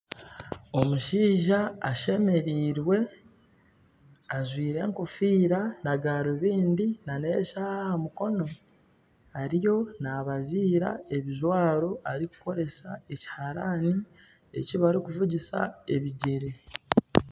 Omushaija ashemerirwe ajwaire ekofiira na garubindi na n'eshaaha aha mukono ariyo nabaziira ebijwaro erikukoresa ekiharaani ekibarikuvugisa ebigyere.